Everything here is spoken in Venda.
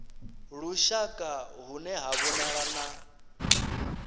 lushaka hune ha vhonala na